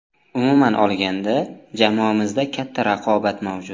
Umuman olganda, jamoamizda katta raqobat mavjud.